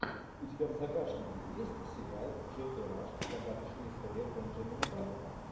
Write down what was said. у тебя в загашнике есть сериал джеффри раш загадочная история бенджамина баттона